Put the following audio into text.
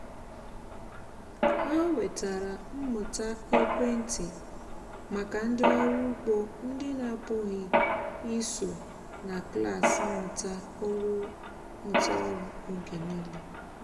ha wetara mmụta ekwentị maka ndị ọrụ ugbo ndị na-apụghị iso na klas mmụta ọrụ oge niile